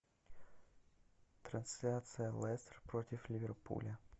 трансляция лестер против ливерпуля